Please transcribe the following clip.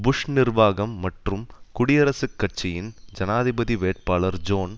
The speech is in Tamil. புஷ் நிர்வாகம் மற்றும் குடியரசுக் கட்சியின் ஜனாதிபதி வேட்பாளர் ஜோன்